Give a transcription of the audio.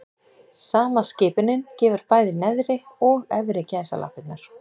Sama skipunin gefur bæði neðri og efri gæsalappirnar.